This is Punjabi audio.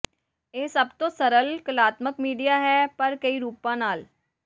ਇਹ ਸਭ ਤੋਂ ਸਰਲ ਕਲਾਤਮਕ ਮੀਡੀਆ ਹੈ ਪਰ ਕਈ ਰੂਪਾਂ ਨਾਲ